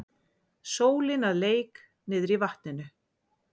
Sólin að leik niðrí vatninu.